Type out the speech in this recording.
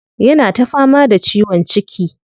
Yana ta fama da ciwon ciki.